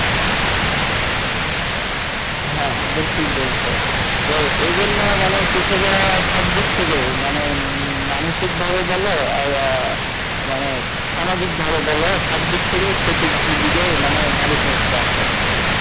হ্যাঁ একদম ঠিক বলছো তো এই জন্যে মানে কৃষকেরা সব দিক থেকে মানে মানসিক ভাবে বলো আর মানে সামাজিক ভাবে বলো সব দিক থেকে মানে ক্ষতির দিক মানে দাবিত হচ্ছে আস্তে আস্তে